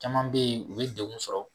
Caman be yen, u bi degun sɔrɔ